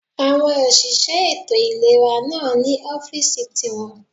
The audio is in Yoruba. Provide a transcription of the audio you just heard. Àwọn òṣìṣẹ́ ètò ìlera náà ní ọ́fìsì ti wọn